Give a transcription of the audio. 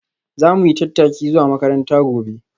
Za mu yi tattaki zuwa makaranta gobe.